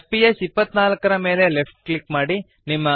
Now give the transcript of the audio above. fps 24 ನ ಮೇಲೆ left click ಮಾಡಿರಿ